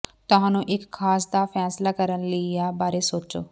ਤੁਹਾਨੂੰ ਇੱਕ ਖਾਸ ਦਾ ਫੈਸਲਾ ਕਰਨ ਲਈ ਆ ਬਾਰੇ ਸੋਚੋ